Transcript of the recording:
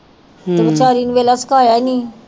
ਨੂੰ ਵੇਖਲਾ ਸਿਖਾਇਆ ਈ ਨਹੀਂ